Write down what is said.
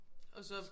Og så